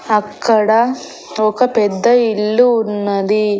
అక్కడ ఒక పెద్ద ఇల్లు ఉన్నది.